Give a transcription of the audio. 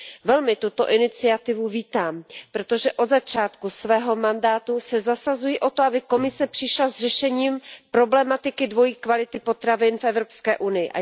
Velmi tuto iniciativu vítám, protože od začátku svého mandátu se zasazuji o to, aby Komise přišla s řešením problematiky dvojí kvality potravin v Evropské unii.